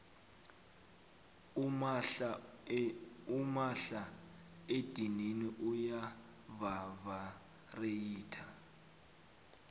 umahla edinini uya vavareyitha